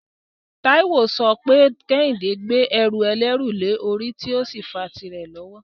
Taiwo ń sọ pé Kehinde ń gbé ẹrù ẹlẹ́rù lórí tí ó sì ń fa tìrẹ lọ́wọ́.